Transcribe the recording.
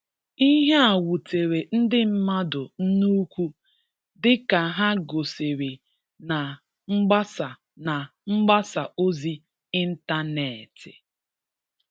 Ihe a wutere ndị mmadụ nnukwu dịka ha gosiri na mgbasa na mgbasa ozi intaneeti